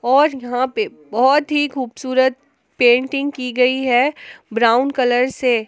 और यहां पे बहुत ही खूबसूरत पेंटिंग की गई है ब्राउन कलर से।